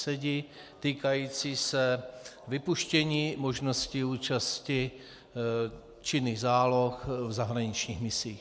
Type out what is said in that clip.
Sedi týkající se vypuštění možnosti účasti činných záloh v zahraničních misích.